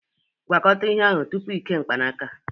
Gwakọta ihe ahụ tupu ị kee mkpanaka